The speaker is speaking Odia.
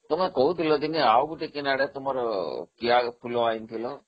ତମେ କହୁଥିଲ ଦିନେ ଆଉ ଗୋଟେ କୁଆଡୁ ତମର କିଆଫୁଲ ଆଣିଥିଲ